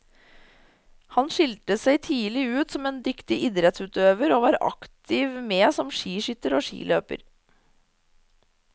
Han skilte seg tidlig ut som en dyktig idrettsutøver, og var aktivt med som skiskytter og skiløper.